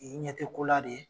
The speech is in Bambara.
I ɲɛ te ko la de ?